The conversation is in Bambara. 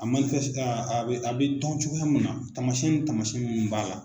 A a bɛ a bɛ tɔn cogoya min na taamasɛn ni taamasɛn minnu b'a la.